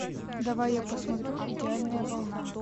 давай я посмотрю идеальная волна